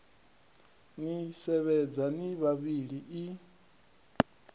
ni sevhedza ni vhavhili i